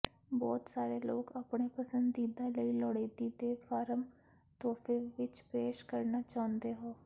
ਬਹੁਤ ਸਾਰੇ ਲੋਕ ਆਪਣੇ ਪਸੰਦੀਦਾ ਲਈ ਲੋੜੀਦੀ ਦੇ ਫਾਰਮ ਤੋਹਫ਼ੇ ਵਿਚ ਪੇਸ਼ ਕਰਨਾ ਚਾਹੁੰਦੇ ਹੋ